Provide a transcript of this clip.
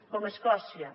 com a escòcia